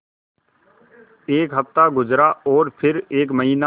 एक हफ़्ता गुज़रा और फिर एक महीना